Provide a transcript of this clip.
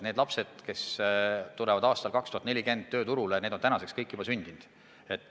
Need lapsed, kes tulevad aastal 2040 tööturule, on kõik juba sündinud.